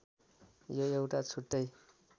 यो एउटा छुट्टै